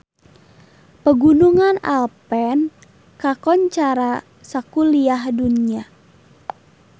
Pegunungan Alpen kakoncara sakuliah dunya